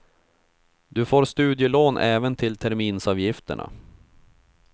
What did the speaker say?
Du får studielån även till terminsavgifterna.